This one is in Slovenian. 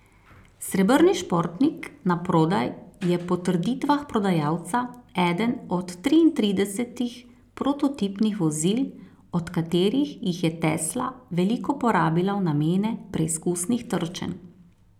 Srebrni športnik na prodaj je po trditvah prodajalca eden od triintridesetih prototipnih vozil, od katerih jih je Tesla veliko porabila v namene preizkusnih trčenj.